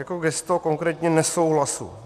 Jako gesto konkrétně nesouhlasu.